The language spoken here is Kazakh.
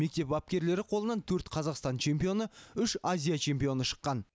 мектеп бапкерлері қолынан төрт қазақстан чемпионы үш азия чемпионы шыққан